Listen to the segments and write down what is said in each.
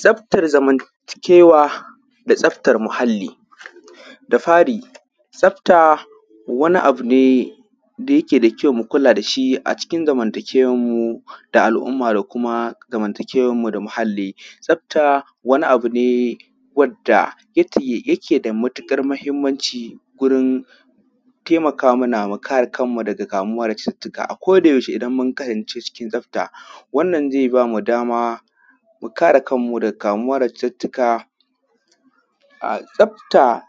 tsaftar zamanta kewa da tsaftar muhalli da: fari tsafta wani abune da yake da kyau mukula dashi a cikin zamanta kewan mu da al umma da kuma zamanta kewan mu da muhalli tsafta wani abune wanda yake da matukar mahimmanci gurin taimaka mana mukare kanmu daga kamuwa da cututtuka a koda yaushe idan mun kasance cikin tsafta wannan zai bamu da mu kare kanmu daga kamuwa da cututtuka tsafta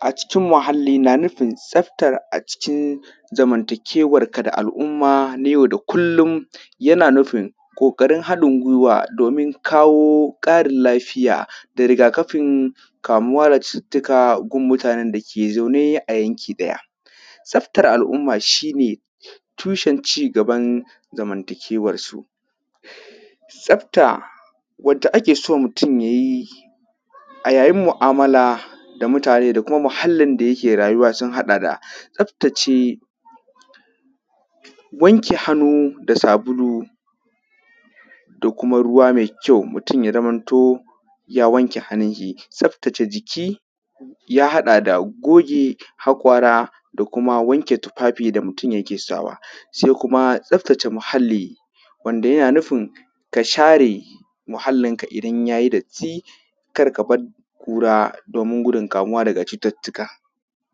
a cikin muhalli na nufin tsafta a cikin zamanta kewan ka da al umma na yau da kullum yana nufin koKarin hadin guiwa dan kawo Karin lafiya da rigakafin kamuwa da cututtuka ga mutanen dake zaune a yanki daya tsaftar al umma shine tushen cigaban zamanta kewan su tsafta wadda akeso mutun yayi a yayin mu’amala da mutane da kuma muhallin da yake zaune sun hada da tsaftace wanke hannu da sabulu da kuma ruwa mai kyau mutun zamanto ya wanke hannunshi tsaftace jiki ya hada da goge hakora da kuma tufafi da mutun yake sawa sai kuma tsaftace muhalli wanda yana nufin ka share muhallin ka idan yayi datti karka bar kura domin gudun kamuwa daga cututtuka